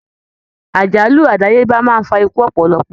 Àjálù adayeba máa n fà ikú ọpọlọpọ.